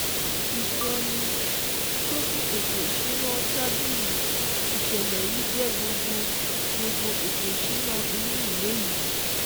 Ìsọní-ṣókí ètò ìsúná tábìlì ìṣẹ̀lẹ̀ yìí jé gbogbo gbogbo ètò ìsúná inú ìwé yii